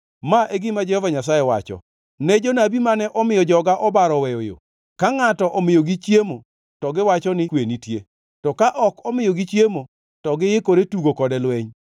Ma e gima Jehova Nyasaye wacho: “Ne jonabi mane omiyo joga obaro oweyo yo, ka ngʼato omiyogi chiemo to giwacho ni, ‘kwe nitie,’ to ka ok omiyogi chiemo, to giikore tugo kode lweny.